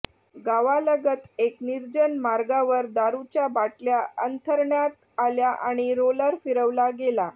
गावालगत एक निर्जन मार्गावर दारूच्या बाटल्या अंथरण्यात आल्या आणि रोलर फिरवला गेला